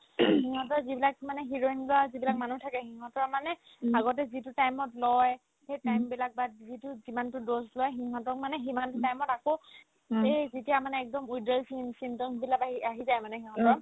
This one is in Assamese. সিহঁতৰ যিবিলাক মানে heroine লোৱা যিবিলাক মানুহ থাকে সিহঁতৰ মানে আগতে যিটো time ত লই সেই time বিলাক but যিটো যিমানতো dose লই সিহঁতক মানে সিমান time ত আক এই যেতিয়া মানে একদম withdrawal sym ~ symptoms বিলাক মানে আহি আহি যায় সিহঁতৰ